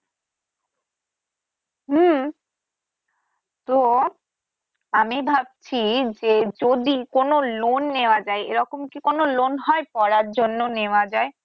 হ্যা তো আমি ভাবছি যে যদি কোন loan নেয়া যায় এরকম কি কোন loan হয় পড়ার জন্য নেয়া যায়